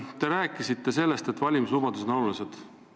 Te rääkisite sellest, et valimislubadused on olulised.